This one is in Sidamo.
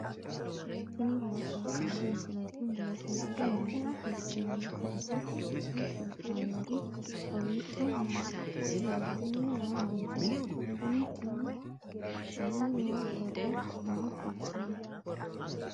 tini maa xawissanno misileeti ? mulese noori maati ? hiissinannite ise ? tini kultannori kowiicho maa coyranni noo manchooti kuni tini badheeni noo borro maa kultanno